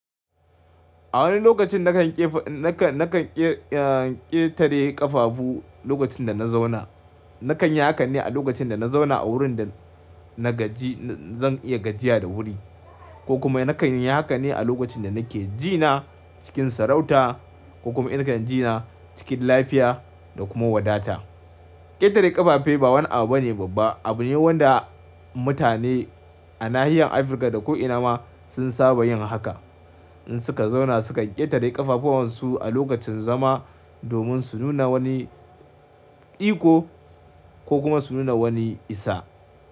A wani lokacin nakan ƙefa, nakan, nakan ƙe, ah, ƙetare ƙafafu lokacin da na zauna. Nakan yi hakan ne a lokacin da na zauna a wurin da na gaji, zan iya gajiya da wuri ko kuma nakan yi haka ne a lokacin da nake jina cikin sarauta ko kuma in kan jina cikin lafiya da kuma wadata. Ƙetare ƙafafai ba wani abu bane babba. Abu ne wanda mutane a nahiyar Afirka da ko ina ma sun saba yin haka in suka zauna suka ƙetare ƙafafuwansu a lokacin zama domin su nuna wani iko ko kuma su nuna wani isa.